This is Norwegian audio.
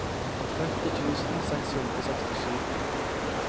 tretti tusen seks hundre og sekstisju